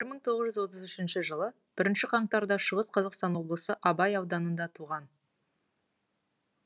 бір мың тоғызыншы жылы отыз үшінші бірінші қаңтарда шығыс қазақстан облысы абай ауданында туған